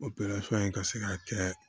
in ka se ka kɛ